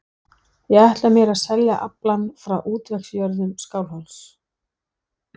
Ég ætla mér að selja aflann frá útvegsjörðum Skálholts.